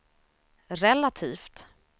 relativt